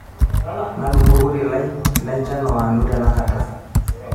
nadumu orkoti lai lenchan oonanu tenakata